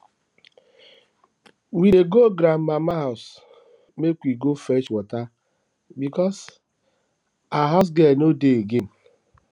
we dey go grandmama house make we go fetch water because her housegirl no dey again